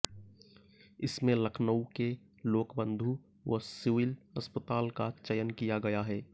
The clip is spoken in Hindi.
इसमें लखनऊ के लोकबंधु व सिविल अस्पताल का चयन किया गया है